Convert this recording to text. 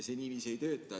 See niiviisi ei tööta.